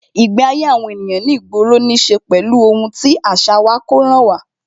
Ìgbé ayé àwọn ènìyàn ní ìgboro ní ṣe pẹ̀lú ohun tí àṣà wa, kó ràn wá